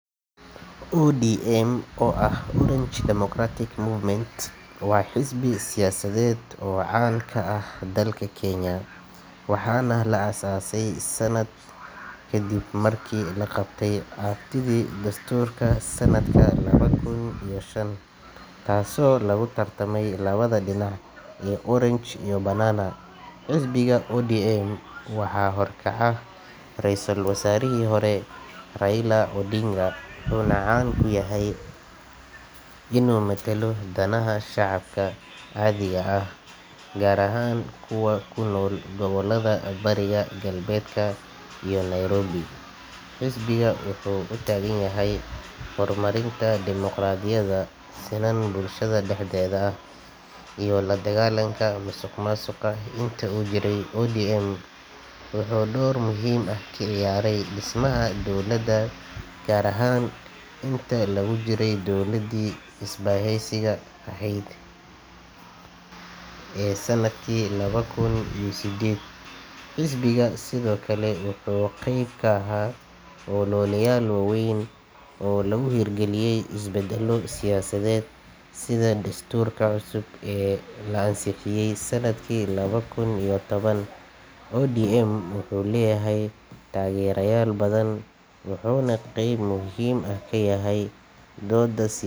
ODM oo ah Orange Democratic Movement waa xisbi siyaasadeed oo caan ka ah dalka Kenya, waxaana la aas-aasay kadib markii la qabtay aftidii dastuurka sanadka laba kun iyo shan, taasoo lagu tartamay labada dhinac ee “orange” iyo “banana.” Xisbiga ODM waxaa horkaca Ra’iisul Wasaarihii hore Raila Odinga, wuxuuna caan ku yahay inuu matalo danaha shacabka caadiga ah, gaar ahaan kuwa ku nool gobollada bariga, galbeedka iyo Nairobi. Xisbiga wuxuu u taagan yahay horumarinta dimoqraadiyada, sinnaan bulshada dhexdeeda ah, iyo la dagaallanka musuqmaasuqa. Intii uu jiray, ODM wuxuu door muhiim ah ka ciyaaray dhismaha dowladda, gaar ahaan intii lagu jiray dowladdii is-bahaysiga ahayd ee sanadkii laba kun iyo sideed. Xisbiga sidoo kale wuxuu qayb ka ahaa ololeyaal waaweyn oo lagu hirgeliyay isbeddello siyaasadeed sida dastuurka cusub ee la ansixiyay sanadkii laba kun iyo toban. ODM wuxuu leeyahay taageerayaal badan, wuxuuna qayb muhiim ah ka yahay doodasi.